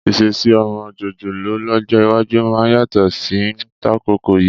Ìṣesí ọmọ jòjòló lọ́jọ́ iwájú máa yàtọ̀ sí tàkókò yìí.